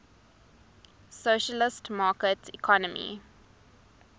socialist market economy